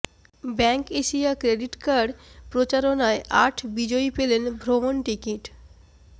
bank Asia credit card প্রচারণায় আট বিজয়ী পেলেন ভ্রমণ টিকিট